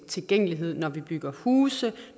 tilgængelighed når vi bygger huse